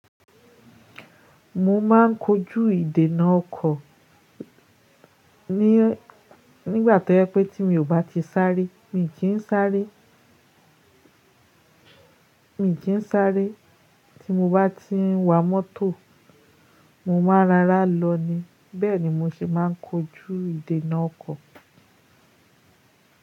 Mo máa ń kojú ìdènà ọkọ̀ nígbà tó yẹ pé tí mi ò bá ti sáré, mi kì í sáré. Mi kì í sáré. Tí mo bá ti ń wa mọ́tò, mo máa rárá lọ ni. Bẹ́ẹ̀ ni mí ṣé máa ń kojú ìdènà ọkọ̀.